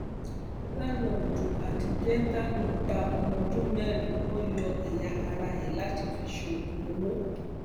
làǹlóòdù àti gẹǹtàánú pa ọmọọdún mẹrin wọn yọ ẹyà ara ẹ láti fi ṣoògùn owó